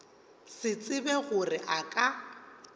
se tsebe gore a ka